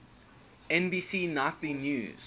nbc nightly news